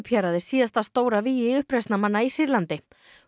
hérað er síðasta stóra vígi uppreisnarmanna í Sýrlandi